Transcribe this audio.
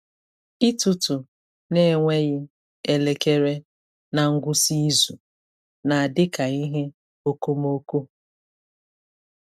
Ịtụtụ n’enweghị elekere na ngwụsị izu na-adị ka ihe okomoko.